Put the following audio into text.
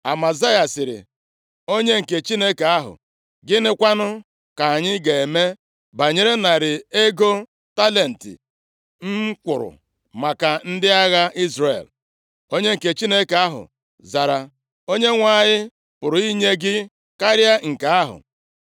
Amazaya sịrị onye nke Chineke ahụ, “Gịnị kwanụ ka anyị ga-eme banyere narị ego talenti m kwụrụ maka ndị agha Izrel?” Onye nke Chineke ahụ zara, “ Onyenwe anyị pụrụ inye gị karịa nke ahụ.”